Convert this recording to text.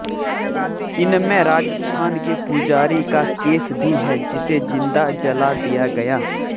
इनमें राजस्थान के पुजारी का केस भी है जिसे जिंदा जला दिया गया